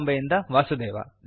ಬಾಂಬೆಯಿಂದ ವಾಸುದೇವ